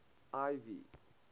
ivy